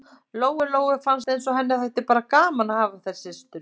Lóu-Lóu fannst eins og henni þætti bara gaman að hafa þær systur.